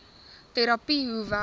terapie hoe werk